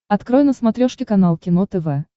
открой на смотрешке канал кино тв